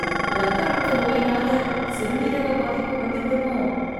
ரத்த அழுத்த நோயினால் சிறுநீரக பாதிப்பு வந்து விடுமோ?